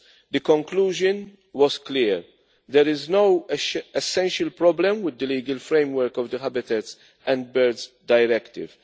The conclusion was clear there is no essential problem with the legal framework of the Habitats and Birds Directives.